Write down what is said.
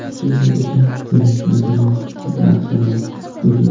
Shunday ekan, demak Napoleon nasoro bo‘lgan.